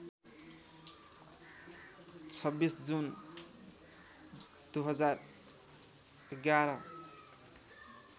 २६ जुन २०११